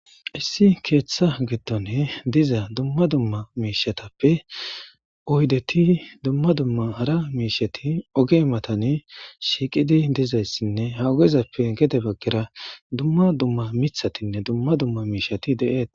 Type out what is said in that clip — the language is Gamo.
Issu ketha gidon diza dumma dumma mishetappe oydeti dumma dumma hara misheti oge mattani shiiqidi dizaysine gede bagara dumma dumma mithatinne dumma dumma mishiti de'etes.